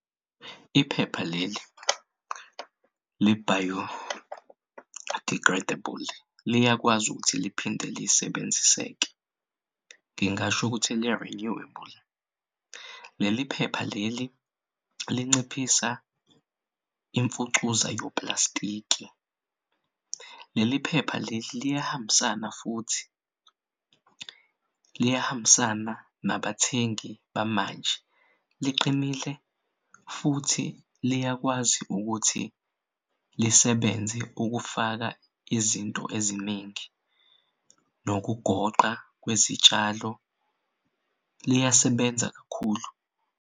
Iphepha leli li-biodegradable liyakwazi ukuthi liphinde lisebenziseke ngingasho ukuthi li-renewable. Leli phepha leli linciphisa imfucuza yoplastiki. Leli phepha leli liyahambisana futhi nabathengi bamanje liqinile futhi liyakwazi ukuthi lisebenze ukufaka izinto eziningi nokugoqa kwezitshalo liyasebenza kakhulu.